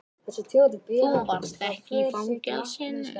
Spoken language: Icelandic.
Þú varst ekki í fangelsinu.